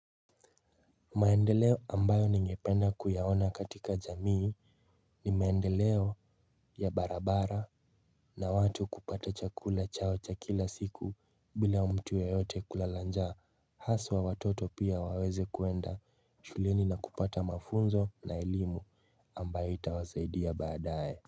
Maendeleo ambayo ningependa kuyaona katika jamii ni maendeleo ya barabara na watu kupata chakula chao cha kila siku bila mtu yeyote kulala njaa haswa watoto pia waweze kuenda shuleni na kupata mafunzo na elimu ambayo itawasaidia baadae.